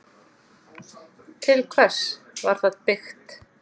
Til hvers var það byggt?